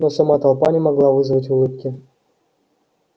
но сама толпа не могла вызвать улыбки